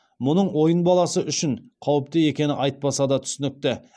мұның ойын баласы үшін қауіпті екені айтпаса да түсінікті